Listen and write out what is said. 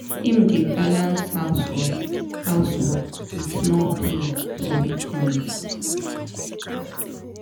him dey balans house work house work with small play for weekends.